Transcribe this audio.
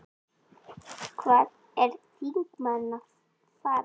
Hvað er þingmaðurinn að fara?